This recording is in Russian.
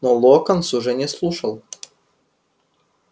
но локонс уже не слушал